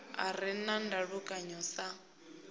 a re na ndalukano sa